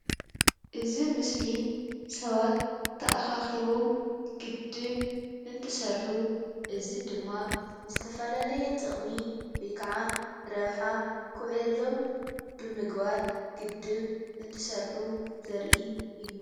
እዚ ምስሊ ሰባት ተኣኻኪበም ግድብ እንትሰርሑ እዚ ድማ ዝተፈላለየ ጥቅሚ ወይከዓ ረብሓ ክውዕለሎም ብምግባር ግድብ እንትሰርሑ ዘርኢ እዩ።